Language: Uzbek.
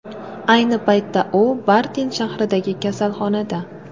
Ayni paytda u Bartin shahridagi kasalxonada.